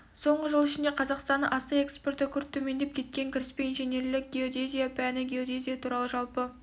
соңғы жыл ішінде қазақстанның астық экспорты күрт төмендеп кеткен кіріспе инженерлік геодезия пәні геодезия туралы жалпы